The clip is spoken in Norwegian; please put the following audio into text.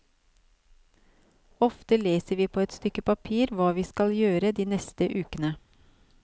Ofte leser vi på et stykke papir hva vi skal gjøre de neste uke.